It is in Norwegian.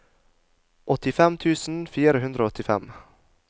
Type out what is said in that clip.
åttifem tusen fire hundre og åttifem